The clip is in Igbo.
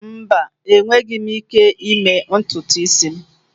Mba, enweghị m ike ịme ntutu isi.